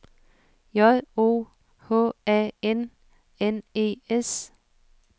J O H A N N E S